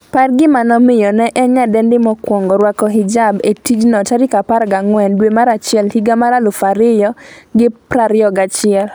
par gima nomiyo ne en nyadendi mokwongo rwako hijab e tijno14 dwe mar achiel higa mar 2021